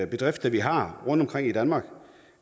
bedrifter vi har rundtomkring i danmark